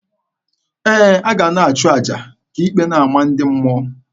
Ee, a ga a na-achụ aja ka ikpe na-ama ndị mmụọ.